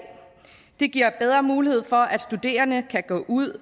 det giver bedre mulighed for at studerende kan gå ud